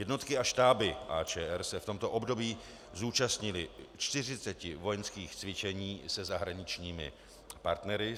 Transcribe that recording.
Jednotky a štáby AČR se v tomto období zúčastnily 40 vojenských cvičení se zahraničními partnery.